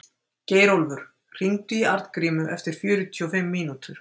Geirólfur, hringdu í Arngrímu eftir fjörutíu og fimm mínútur.